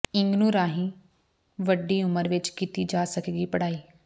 ਇਗਨੂੰ ਰਾਹੀਂ ਵੱਡੀ ਉਮਰ ਵਿੱਚ ਕੀਤੀ ਜਾ ਸਕੇਗੀ ਪਡ਼੍ਹਾਈ